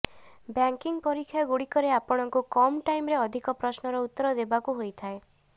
banking ପରୀକ୍ଷାଗୁଡ଼ିକରେ ଆପଣଙ୍କୁ କମ୍ ଟାଇମରେ ଅଧିକ ପ୍ରଶ୍ନର ଉତ୍ତର ଦେବାକୁ ହୋଇଥାଏ